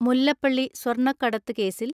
മുല്ലപ്പള്ളി സ്വർണ്ണക്കടത്ത് കേസിൽ